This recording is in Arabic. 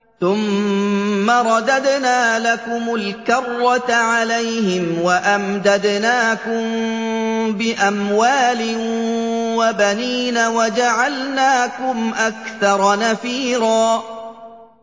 ثُمَّ رَدَدْنَا لَكُمُ الْكَرَّةَ عَلَيْهِمْ وَأَمْدَدْنَاكُم بِأَمْوَالٍ وَبَنِينَ وَجَعَلْنَاكُمْ أَكْثَرَ نَفِيرًا